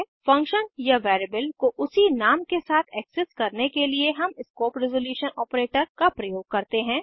function या variable को उसी नाम के साथ एक्सेस करने के लिए हम स्कोप रेसोलुशन ऑपरेटर का प्रयोग करते हैं